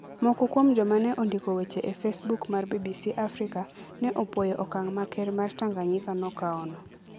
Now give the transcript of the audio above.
Moko kuom joma ne ondiko weche e Facebook mar BBC Africa ne opwoyo okang ' ma Ker mar Tanganyika nokawono.